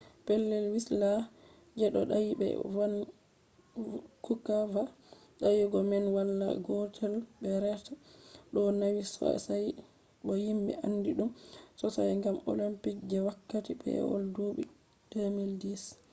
pellel wislas je ɗo dayi be vankuva dayugo man awa gotel be reta ɗo nawi sosai bo himɓe andi ɗum sosai gam olimpiks je wakkati pewol duuɓi 2010